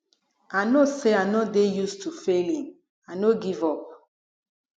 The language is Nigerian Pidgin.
i no say i no dey use to failing i no give up